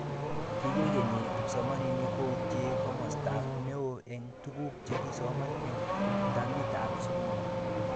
Kikenyi kipsomaninik koutee komosata neo eng tuguk chekisoman eng tamitab skul